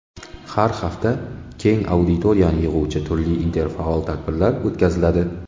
Har hafta keng auditoriyani yig‘uvchi turli interfaol tadbirlar o‘tkaziladi.